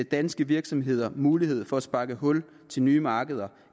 danske virksomheder mulighed for at sparke hul til nye markeder